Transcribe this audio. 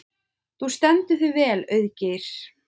Þú stendur þig vel, Auðgeir!